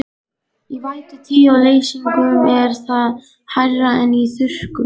Í vætutíð og leysingum er það hærra en í þurrkum.